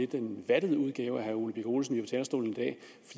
den lidt vattede udgave af herre ole birk olesen talerstolen